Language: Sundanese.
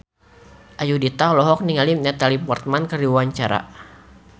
Ayudhita olohok ningali Natalie Portman keur diwawancara